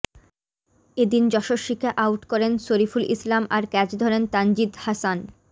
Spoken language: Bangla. এদিন যশস্বীকে আউট করেন শরিফুল ইসলাম আর ক্যাচ ধরেন তানজিদ হাসান